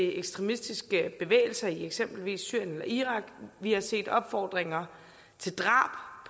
ekstremistiske bevægelser i eksempelvis syrien eller irak vi har set opfordringer til drab